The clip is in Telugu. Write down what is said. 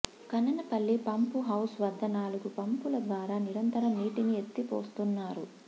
కనె్నపల్లి పంపుహౌస్ వద్ద నాలుగు పంపుల ద్వారా నిరంతరం నీటిని ఎత్తిపోస్తున్నారు